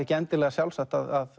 ekki endilega sjálfsagt að